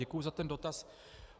Děkuji za ten dotaz.